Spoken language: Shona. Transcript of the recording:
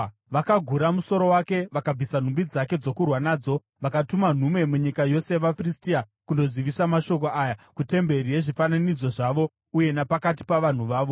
Vakagura musoro wake vakabvisa nhumbi dzake dzokurwa nadzo, vakatuma nhume munyika yose yavaFiristia kundozivisa mashoko aya kutemberi yezvifananidzo zvavo uye napakati pavanhu vavo.